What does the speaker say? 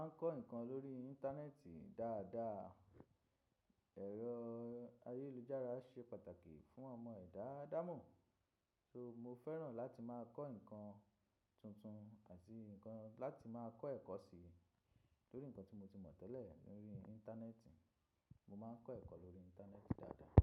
Mo máa ń kọ́ nǹkan lórí Íńtánẹ́ẹ̀tì dáadáa. Ẹ̀rọ ayélujára ṣe pàtàkì fún ọmọ ẹ̀dá ádámọ̀, so mo fẹ́ràn láti máa kọ́ nǹkan tuntun àti láti máa kọ́ ẹ̀kọ́ sí torí nǹkan tí mo ti mọ̀ tẹ́lẹ̀ ní orí Íńtánẹ́ẹ̀tì, mo máa ń kọ́ ẹ̀kọ́ lórí Íńtánẹ́ẹ̀tì dáadáa.